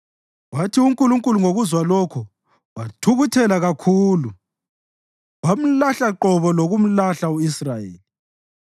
Wathi uNkulunkulu ngokukuzwa lokho, wathukuthela kakhulu; wamlahla qobo lokumlahla u-Israyeli.